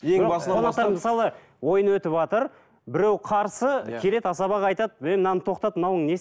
мысалы ойын өтіватыр біреу қарсы келеді асабаға айтады ей мынаны тоқтат мынауың